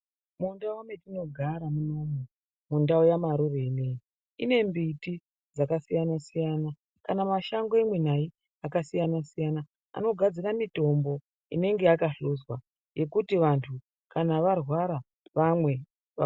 Mundau metinogara munomu, mundau yaMarure ineyi, ine mbiti dzakasiyana-siyana ,kana mashango imwi nayi, akasiyana-siyana, anogadzira mitombo, inenge yakahluzwa yekuti vantu, kana varwara vamwe va....